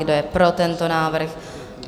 Kdo je pro tento návrh?